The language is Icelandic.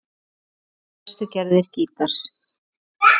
Þetta eru helstu gerðir gítars